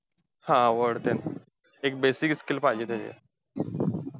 हा! Word ते, एक basic skill पाहिजे ते.